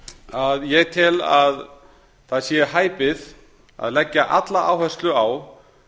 að ég tel að það sé hæpið að leggja alla áherslu á